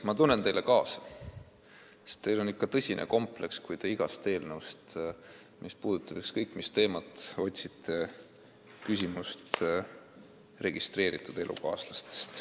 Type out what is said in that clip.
Ma tunnen teile kaasa, sest teil on ikka tõsine kompleks, kui te igast eelnõust, mis puudutab ükskõik mis teemat, otsite registreeritud elukaaslaste küsimust.